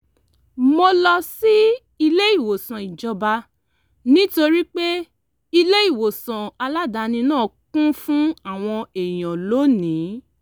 mo lọ sí ilé ìwòsàn ìjọba nítorí pé ilé ìwòsàn aládàáni náà kún fún àwọn èèyàn lónìí